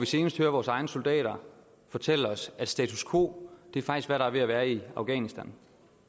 senest hørt vores egne soldater fortælle os at status quo faktisk er hvad der er ved at være i afghanistan